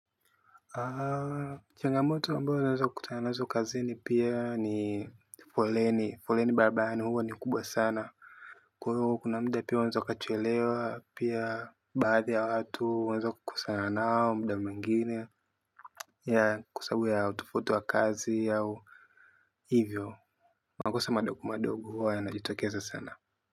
Changamoto ambayo naweza kutana nazo pia kazini ni foleni. Foleni barabarani huwa ni kubwa sana. Kwa hio kuna muda pia unaweza ukachelewa pia, baadhi ya watu unaweza ukakosana nao muda mwingine kwa sababu ya utofauti wa kazi au hivyo. Makosa madogo madogo huwa yanajitokeza sana.